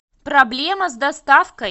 проблема с доставкой